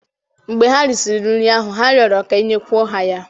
mgbe ha risịrị nri ahụ, ha rịọrọ ka e nyekwuo ha ya